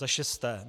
Za šesté.